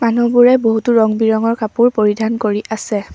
মানুহবোৰে বহুতো ৰং বিৰঙৰ কাপোৰ পৰিধান কৰি আছে।